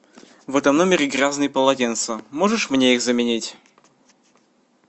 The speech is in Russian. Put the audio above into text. в этом номере грязные полотенца можешь мне их заменить